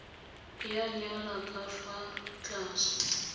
ya nyala ka fa tlase